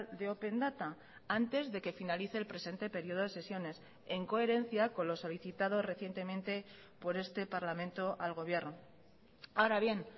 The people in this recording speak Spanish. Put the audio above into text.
de open data antes de que finalice el presente período de sesiones en coherencia con lo solicitado recientemente por este parlamento al gobierno ahora bien